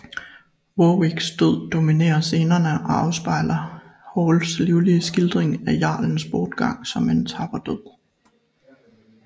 Warwicks død dominerer scenerne og afspejler Halls livlige skildring af jarlens bortgang som en tapper død